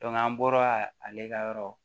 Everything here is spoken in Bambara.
an bɔra ale ka yɔrɔ